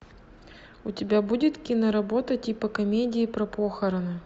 у тебя будет киноработа типа комедии про похороны